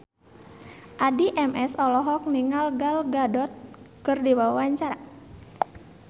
Addie MS olohok ningali Gal Gadot keur diwawancara